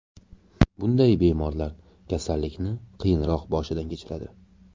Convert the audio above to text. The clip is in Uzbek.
Bunday bemorlar kasallikni qiyinroq boshidan kechiradi.